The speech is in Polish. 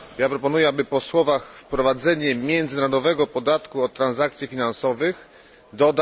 Proponuję, aby po słowach wprowadzenie międzynarodowego podatku od transakcji finansowych dodać trzy słowa na poziomie globalnym.